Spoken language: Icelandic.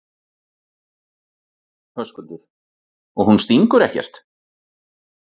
Höskuldur: Og hún stingur ekkert?